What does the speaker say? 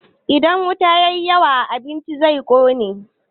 Idan wuta ya yi yawa a abinci, zai ƙone.